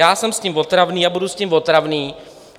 Já jsem s tím otravný a budu s tím otravný.